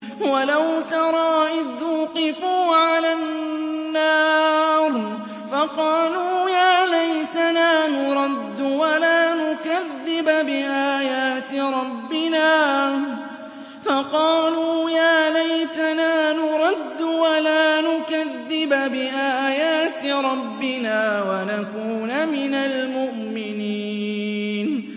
وَلَوْ تَرَىٰ إِذْ وُقِفُوا عَلَى النَّارِ فَقَالُوا يَا لَيْتَنَا نُرَدُّ وَلَا نُكَذِّبَ بِآيَاتِ رَبِّنَا وَنَكُونَ مِنَ الْمُؤْمِنِينَ